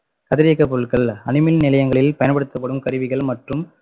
கதிரியக்கப்பொருட்கள் அணுமின் நிலையங்களில் பயன்படுத்தப்படும் கருவிகள் மற்றும்